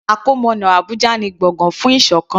Àkọmọ̀nà Abùjá ni gbọ̀gán fún ìṣọ̀kan.